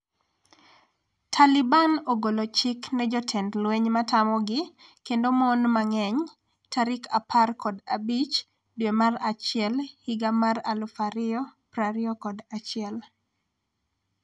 Taliban ogolo chik ne jotend lweny matamogi kendo mon mang'eny tarik 15 dwe mar achiel higa mar 2021